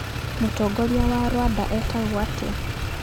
Mũtongoria wa Rwanda etagwo atĩa?